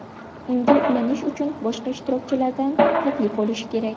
Unga ulanish uchun boshqa ishtirokchilardan taklif olish kerak.